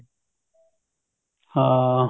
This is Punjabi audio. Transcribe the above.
ਹਾਂ